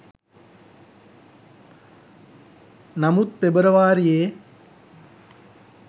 නමුත් පෙබරවාරියේ